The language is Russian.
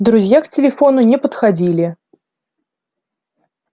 друзья к телефону не подходили